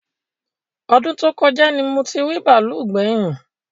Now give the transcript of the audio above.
Ọdún tó kọjá ni mo ti rí bàálù gbẹ̀yìn